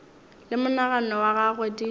le monagano wa gagwe di